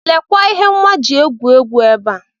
Lekwa ihe nwa ji egwu egwu ebe a.